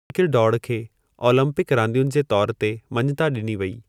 डोड़ खे ओलंपिकु रांदियुनि जे तौर ते मञिता ॾिनी वई।